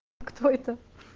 кто это